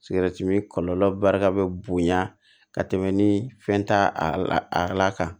kɔlɔlɔ barika bɛ bonya ka tɛmɛ ni fɛn t'a a la kan